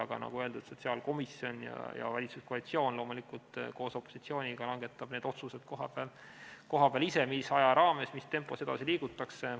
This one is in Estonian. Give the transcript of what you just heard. Aga nagu öeldud, sotsiaalkomisjon ja valitsuskoalitsioon loomulikult koos opositsiooniga langetavad kohapeal ise need otsused, mis ajaraames, mis tempos edasi liigutakse.